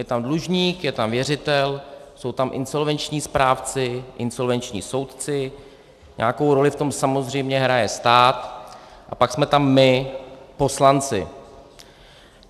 Je tam dlužník, je tam věřitel, jsou tam insolvenční správci, insolvenční soudci, nějakou roli v tom samozřejmě hraje stát a pak jsme tam my, poslanci.